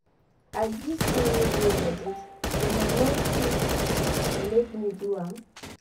As dis tin no dey legit una no ft make me do am.